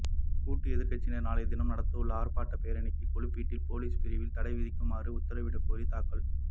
கூட்டு எதிர்க்கட்சியினர் நளைய தினம் நடத்தவுள்ள ஆர்ப்பாட்டப் பேரணிக்கு கொள்ளுப்பிட்டி பொலிஸ் பிரிவில் தடை விதிக்குமாறு உத்தரவிடக் கோரி தாக்கல்